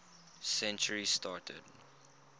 century started